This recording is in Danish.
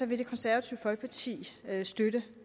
vil det konservative folkeparti støtte